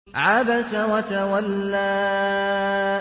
عَبَسَ وَتَوَلَّىٰ